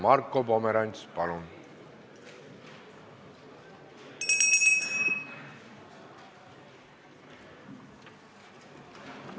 Marko Pomerants, palun!